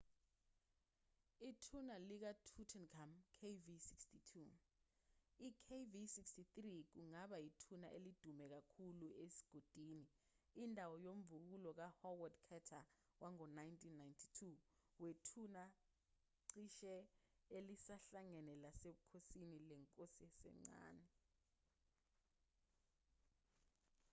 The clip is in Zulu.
ithuna likatutankhamun kv62. i-kv63 kungaba yithuna elidume kakhulu esigodini indawo yomvubukulo ka-howard carter wango-1992 wethuna cishe elisahlangene lasebukhosini lenkosi esencane